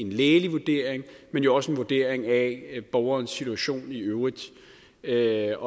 lægelig vurdering men jo også en vurdering af borgerens situation i øvrigt det er